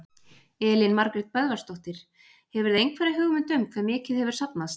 Elín Margrét Böðvarsdóttir: Hefurðu einhverja hugmynd um hve mikið hefur safnast?